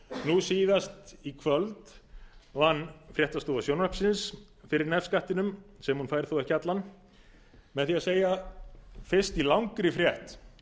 nú síðast í kvöld vann fréttastofa sjónvarpsins fyrir nefskattinum sem hún fær þó ekki allan með því að segja fyrst í langri frétt